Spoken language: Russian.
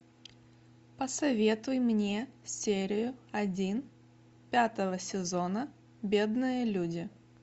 посоветуй мне серию один пятого сезона бедные люди